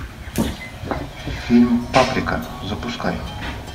фильм паприка запускай